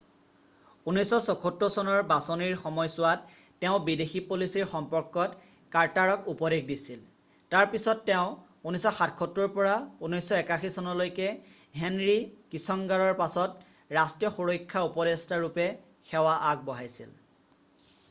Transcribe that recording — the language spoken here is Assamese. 1976 চনৰ বাচনিৰ সময়ছোৱাত তেওঁ বিদেশী পলিচিৰ সম্পৰ্কত কাৰ্টাৰক উপদেশ দিছিল তাৰ পিছিত তেওঁ 1977ৰ পৰা 1981চনলৈকে হেনৰি কিচংগাৰৰ পাছত ৰাষ্ট্ৰীয় সুৰক্ষা উপদেষ্টা nsa ৰূপে সেৱা আগবঢ়াইছিল।